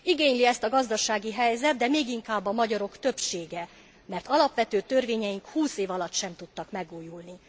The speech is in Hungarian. Igényli ezt a gazdasági helyzet, de még inkább a magyarok többsége, mert alapvető törvényeink húsz év alatt sem tudtak megújulni.